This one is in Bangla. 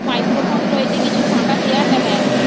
মাইক্রোফোন রয়েছে কিছু ফাঁকা চেয়ার দেখা যাচ্ছে।